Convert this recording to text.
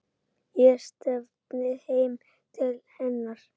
Ég stefni heim til hennar.